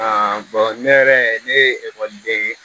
ne yɛrɛ ne ye ekɔliden ye